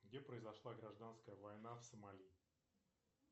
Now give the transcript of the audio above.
где произошла гражданская война в сомали